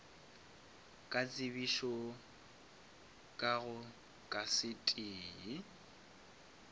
ka tsebišo ka go kasete